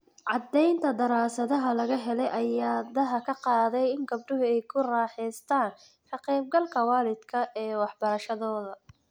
Caddaynta daraasaddan laga helay ayaa daaha ka qaaday in gabdhuhu ay ku raaxaystaan ??ka qayb galka waalidku ee waxbarashadooda.